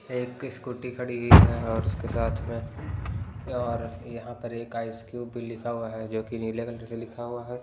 एक स्कूटी खड़ी हुई हैं और उसके साथ में और यहाँ पर एक आइसक्यूब भी लिखा हुआ हैं जो कि नीले कलर से लिखा हुआ हैं।